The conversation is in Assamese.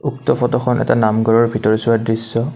উক্ত ফটোখন এটা নামঘৰৰ ভিতৰচোৱাৰ দৃশ্য।